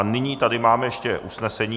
A nyní tady máme ještě usnesení.